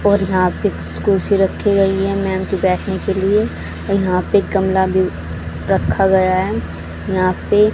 और यहां पे कुर्सी रखी गई है मैम के बैठने के लिए यहां पे गमला भी रखा गया है यहां पे--